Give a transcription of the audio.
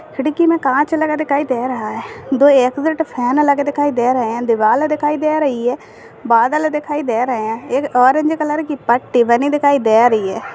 खिड़की में कांच लगा दिखाई दे रहा है दो एग्जिट फैन लगे दे रहे हैं दीवाल दिखाई दे रहे है बादल दिखाई दे रहे हैं एक ऑरेंज कलर की पट्टी बनी दिखाई दे रही है।